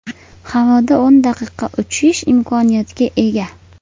Havoda o‘n daqiqa uchish imkoniyatiga ega.